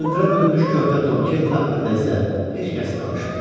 Cır-cındıra bürünmüş körpə Tom Kenti haqqında isə heç kəs danışmırdı.